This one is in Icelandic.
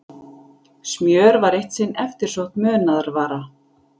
smjör var eitt sinn eftirsótt munaðarvara